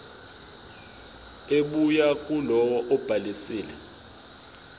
ebuya kulowo obhalisile